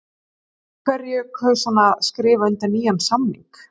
En af hverju kaus hann að skrifa undir nýjan samning?